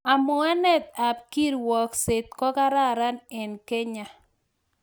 Amwuanet ab kirwagkset kokararan eng Kenya